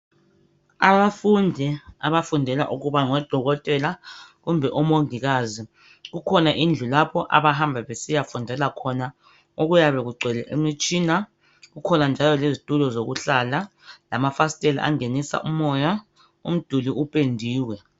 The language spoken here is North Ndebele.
Abafundi abafundela ukuba ngodokotela kumbe omongilazi kukhona indlu lapho abahamba besiya fundela khona okuyabe kungcwele imitshina kukhona njalo lezitulo zokuhlala lamafasitela angenisa umoya umduli upendiwe